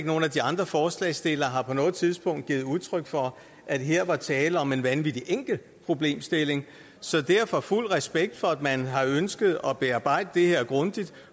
nogen af de andre forslagsstillere har på noget tidspunkt givet udtryk for at her var tale om en vanvittig enkel problemstilling så derfor fuld respekt for at man har ønsket at bearbejde det her grundigt